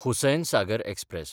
Hussain Sagar express